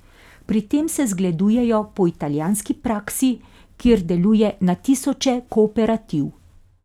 Pri tem se zgledujejo po italijanski praksi, kjer deluje na tisoče kooperativ.